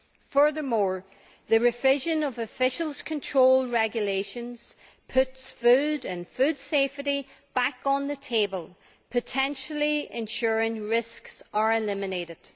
Furthermore, the revision of official control regulations puts food and food safety back on the table, potentially ensuring that risks are eliminated.